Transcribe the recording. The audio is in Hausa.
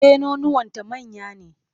E, nonuwanta manya ne.